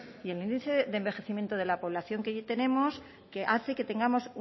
y el índice de envejecimiento de la población que tenemos que hace que tengamos